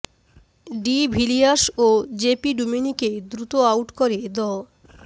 D Villiers ও JP ডুমিনিকে দ্রুত আউট করে দ